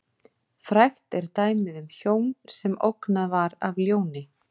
Frægt er dæmið um hjón sem ógnað var af ljóni.